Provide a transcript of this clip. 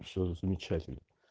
всё замечательно